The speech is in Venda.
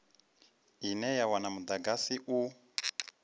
ine ya wana mudagasi u